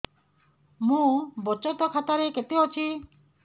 ମୋ ବଚତ ଖାତା ରେ କେତେ ଅଛି